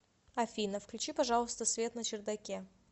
афина включи пожалуйста свет на чердаке